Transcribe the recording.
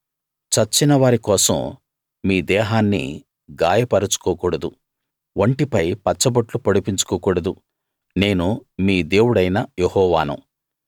చచ్చిన వారి కోసం మీ దేహాన్ని గాయపరచుకోకూడదు ఒంటిపై పచ్చబొట్లు పొడిపించుకోకూడదు నేను మీ దేవుడైన యెహోవాను